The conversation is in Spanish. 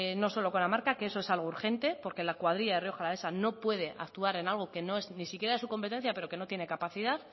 no solo con la marca que eso es algo urgente porque la cuadrilla de rioja alavesa no puede actuar en algo que no es ni siquiera de su competencia pero que no tiene capacidad